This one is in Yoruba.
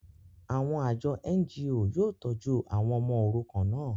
àwọn àjọ NGO yóò tọ́jú àwọn ọmọ òrukàn náà